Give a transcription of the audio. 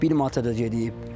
Bir manata da gedib.